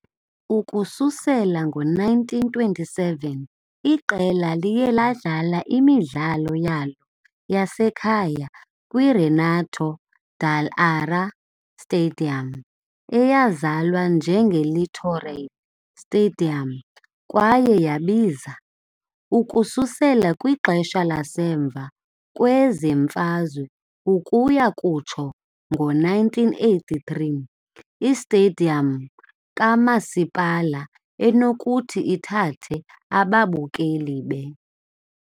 Ukususela ngo -1927 iqela liye ladlala imidlalo yalo yasekhaya kwi- Renato Dall'Ara Stadium, eyazalwa njengeLittoriale Stadium kwaye yabiza, ukususela kwixesha lasemva kwemfazwe ukuya kutsho ngo-1983, i-Stadium kaMasipala, enokuthi ithathe ababukeli be .